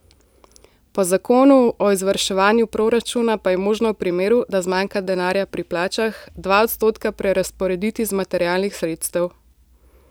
Po zakonu o izvrševanju proračuna pa je možno v primeru, da zmanjka denarja pri plačah, dva odstotka prerazporediti z materialnih sredstev.